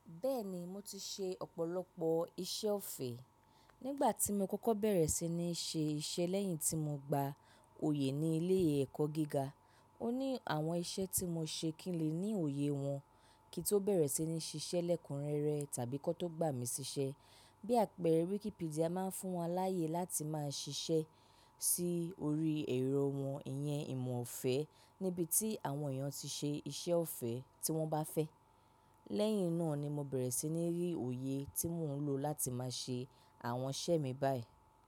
Bẹ́ẹ̀ni mo ti ṣe ọ̀pọ̀lọpọ̀ iṣẹ́ ọ̀fẹ́. Nígbà tí mo kọ́kọ́ bẹ̀rẹ̀ sí ní ṣe iṣẹ́ lẹ́yìn tí mo gba oyè ní ilé ẹ̀kọ́ gíga, ó ní àwọn iṣẹ́ tí mo ṣe kí n lè ní òye wọn kí n tó bẹ̀rẹ̀ sí ní ṣiṣẹ́ lẹ́kúnrẹ́rẹ tàbí kí wọ́n tó gbà mí ṣiṣẹ́. Bí àpẹẹrẹ Wikipedia máa ń fún wọn láyè láti máa ṣiṣẹ́ sí orí ẹ̀rọ wọn, ìyẹn ìmọ̀ ọ̀fẹ́ níbi tí àwọn èèyàn ti ṣe iṣẹ́ ọ̀fẹ́ tí wọ́n bá fẹ́. Lẹ́yìn náà ni mo bẹ̀rẹ̀ sí ní rí òye tí mò ń lò láti máa ṣe àwọn iṣẹ́ mi báyìí.